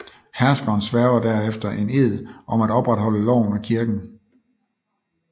Herskeren sværger derefter en ed om at opretholde loven og kirken